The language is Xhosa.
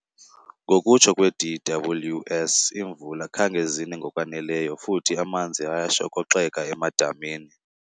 Ngokutsho kwe-DWS iimvula khange zine ngokwaneleyo futhi amanzi ayashokoxeka emadamini.